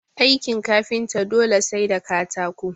Aikin kafinta dole sai da katako